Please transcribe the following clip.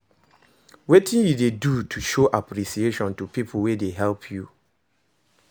Wetin you dey do to show apppreciation to people wey dey help you?